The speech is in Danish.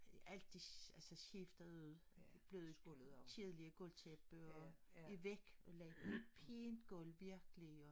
Alt de altså skiftede blevet kedlige gulvtæppe og væk og lagde pænt gulv virkelig og